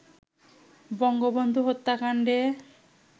Bangabandhu হত্যাকান্ডে